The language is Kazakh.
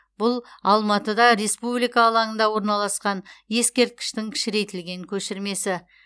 бұл алматыда республика алаңында орналасқан ескерткіштің кішірейтілген көшірмесі